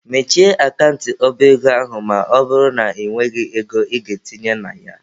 Mechie akant ọba ego ahụ ma ọ bụrụ na ị nweghị ego ị ga-etinye na ya!.